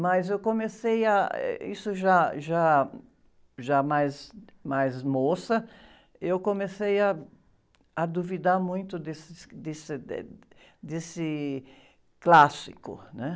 Mas eu comecei a, eh... Isso já, já, já mais, mais moça, eu comecei ah, a duvidar muito desse, desse, eh, desse clássico, né?